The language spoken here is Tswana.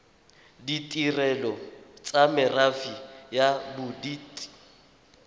ditirelo tsa merafe ya bodit